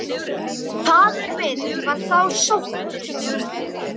Faðir minn var þá sóttur.